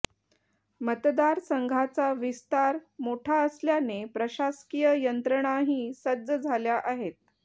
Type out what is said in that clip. मतदारसंघाचा विस्तार मोठा असल्याने प्रशासकीय यंत्रणाही सज्ज झाल्या आहेत